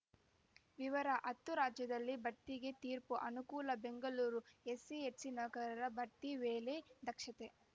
ವಿವರ ಹತ್ತು ರಾಜ್ಯದಲ್ಲಿ ಬಡ್ತಿಗೆ ತೀರ್ಪು ಅನುಕೂಲ ಬೆಂಗಳೂರು ಎಸ್ಸಿ ಎಸ್ಟಿನೌಕರರ ಬಡ್ತಿ ವೇಳೆ ದಕ್ಷತೆ